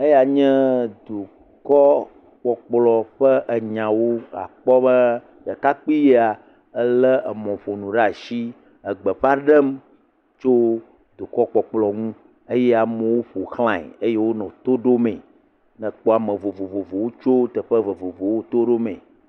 Eya nye dukɔkpɔkplɔ ƒe enyawo. Àkpɔ be ɖekakpui ya elé emɔƒonu ɖe asi egbeƒa ɖem tso dukɔkpɔkplɔ ŋu eye amewo ƒo xlae eye wonɔ to ɖomee, nekpɔ ame vovovowo tso teƒe vovovowo to ɖomee.